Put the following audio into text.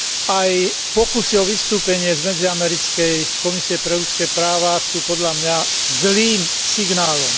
Aj pokusy o vystúpenie z Medziamerickej komisie pre ľudské práva sú podľa mňa zlým signálom.